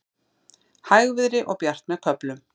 Hægviðri og bjart með köflum